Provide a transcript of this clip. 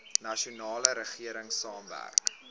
nasionale regering saamwerk